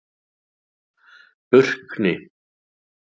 Burkni